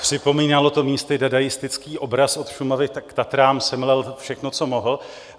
Připomínalo to místy dadaistický obraz od Šumavy k Tatrám, semlel všechno, co mohl.